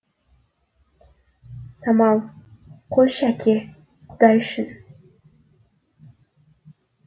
самал қойшы әке құдай үшін